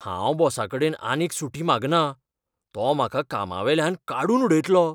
हांव बॉसाकडेन आनीक सुटी मागना. तो म्हाका कामावेल्यान काडून उडयतलो.